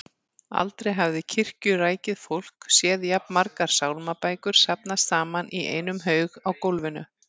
Aldrei hafði kirkjurækið fólk séð jafn margar sálmabækur safnast saman í einum haug á gólfinu.